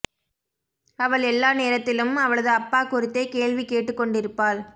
அவள் எல்லா நேரத்திலும் அவளது அப்பா குறித்தே கேள்வி கேட்டுக்கொண்டிருப்பாள்